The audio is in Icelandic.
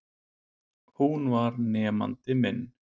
Hún var nemandi minn.